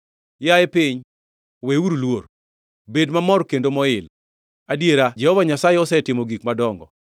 Yaye piny, weuru luor; bed mamor kendo moil, adiera Jehova Nyasaye osetimo gik madongo.